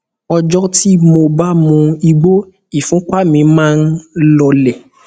ọjọ tí mo bá mu igbó ìfúnpá mi máa ń lọọlẹ